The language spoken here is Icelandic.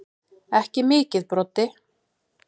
Ekki mikið Broddi.